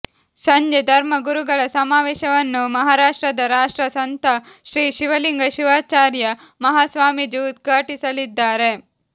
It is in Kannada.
ಸಂಜೆ ಧರ್ಮ ಗುರುಗಳ ಸಮಾವೇಶವನ್ನು ಮಹಾರಾಷ್ಟ್ರದ ರಾಷ್ಟ್ರ ಸಂತ ಶ್ರೀ ಶಿವಲಿಂಗ ಶಿವಾಚಾರ್ಯ ಮಹಾಸ್ವಾಮೀಜಿ ಉದ್ಘಾಟಿಸಲಿದ್ದಾರೆ